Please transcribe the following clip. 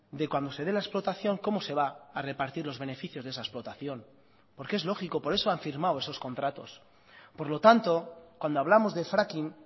de cuando se dé la explotación cómo se va a repartir los beneficios de esa explotación porque es lógico por eso han firmado esos contratos por lo tanto cuando hablamos de fracking